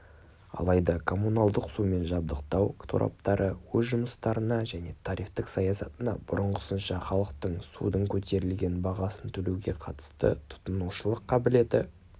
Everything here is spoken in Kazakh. алайда коммуналдық сумен жабдықтау тораптары өз жұмыстарына және тарифтік саясатына бұрынғысынша халықтың судың көтерілген бағасын төлеуге қатысты тұтынушылық қабілеті